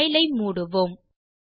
file ஐ மூடுவோம்